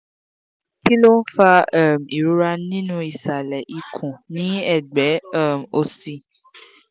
kí ló ń fa um ìrora nínú isale ikun ni egbe um òsì?